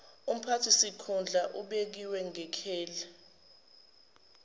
umphathisikhundla obekiwe ngekheli